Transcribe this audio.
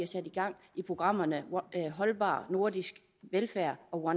sat gang i programmerne holdbar nordisk velfærd og